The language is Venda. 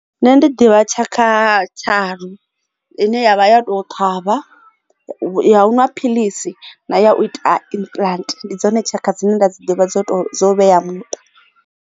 Nṋe ndi ḓivha tshakha tharu ine yavha ya to thavha ya u ṅwa philisi na ya u ita implant ndi dzone tshaka dzine nda dzi ḓivha dzo to vhea muṱa.